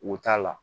Wo t'a la